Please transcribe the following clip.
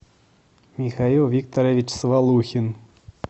михаил викторович свалухин